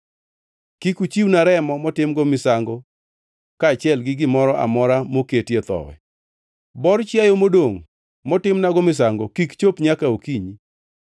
“Kik uchiwna remo motimgo misango kaachiel gi gimoro amora moketie thowi. “Bor chiayo modongʼ motimnago misango kik chop nyaka okinyi.